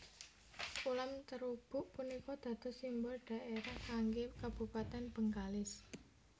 Ulam terubuk punika dados simbol dhaerah kanggé kabupatèn Bengkalis